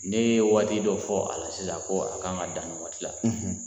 N'i ye waati dɔ fɔ a sisan ko a ka kan dan ni waati la